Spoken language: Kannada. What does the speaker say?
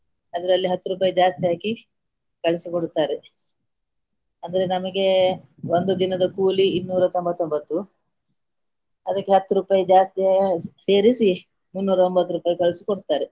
ಅದರಲ್ಲಿ ಹತ್ತು ರೂಪಾಯಿ ಜಾಸ್ತಿ ಹಾಕಿ ಕಳಿಸಿ ಕೊಡುತ್ತಾರೆ ಅಂದ್ರೆ ನಮಗೆ ಒಂದು ದಿನದ ಕೂಲಿ ಇನ್ನೂರ ತೊಂಬತ್ತೊಂಬತ್ತು ಅದಕ್ಕೆ ಹತ್ತು ರೂಪಾಯಿ ಜಾಸ್ತಿ ಸೇರಿಸಿ ಮುನ್ನೂರ ಒಂಭತ್ತು ರೂಪಾಯಿ ಕಳಿಸಿಕೊಡ್ತಾರೆ.